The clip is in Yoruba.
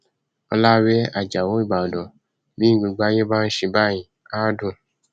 ọlàwé ajáò ìbàdàn bí gbogbo ayé bá ń ṣe báyìí á dùn